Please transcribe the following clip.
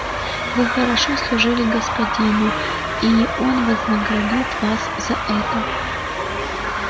вы хорошо служили господину и он вознаградит вас за это